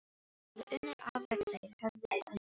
Hann hafði unnið afrek þeir höfðu unnið afrek.